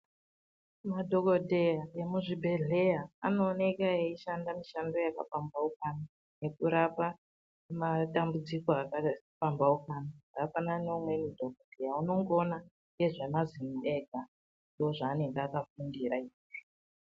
Madhogodheya emuzvibhedhleya anooneka eishanda mishando yakapambaukana yekurapa madambudziko akapambaukana. Zvakafanana neumweni dhogodheya anongoona nezvemazino ega ndozvaanenge akafundira izvozvo.